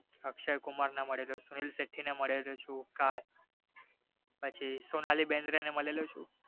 અક્ષય કુમાર ને મળેલો છું સુનિલ શેટ્ટી ને મળેલો છું પછી સોનાલી બેન્દ્રેને મળેલો છું